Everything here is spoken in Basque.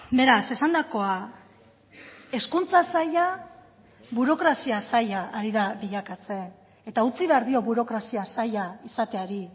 beraz esandakoa hezkuntza saila burokrazia saila ari da bilakatzen eta utzi behar dio burokrazia saila izateari